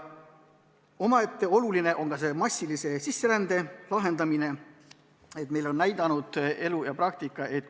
Omaette oluline samm on ka võimaliku massilise sisserände probleemide lahendamine.